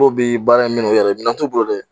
Dɔ bɛ baara in minɛn u yɛrɛ ye, minɛn t'o bolo dɛ